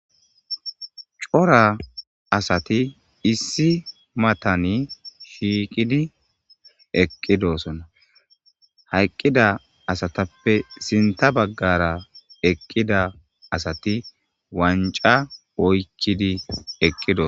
cora asati issi matani shiiqidi eqqidosona hayqqida asatappe sinta baggara eqqida asati wanca oykkidi eqqidos